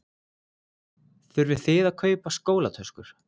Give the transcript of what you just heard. Þurfið þið að kaupa skólatöskur?